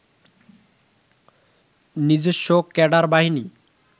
নিজস্ব ক্যাডার বাহিনী